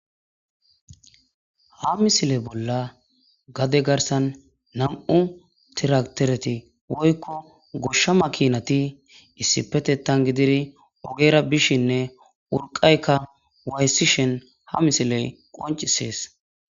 Ha misile bolla gade garsan naw'u tiraktereti woykko goshsha makinati issipetettan gididi ogera bishinne urqqayka waayisishin ha misiley qoncisees.